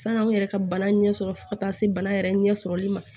San'an yɛrɛ ka bana ɲɛ sɔrɔ fo ka taa se bana yɛrɛ ɲɛsɔrɔli ma